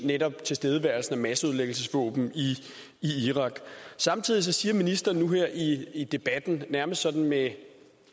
netop tilstedeværelsen af masseødelæggelsesvåben i irak samtidig siger ministeren nu her i debatten nærmest sådan med